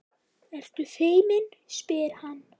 Ertu feimin, spyr hann.